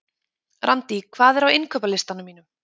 Randý, hvað er á innkaupalistanum mínum?